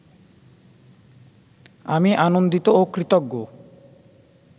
আমি আনন্দিত ও কৃতজ্ঞ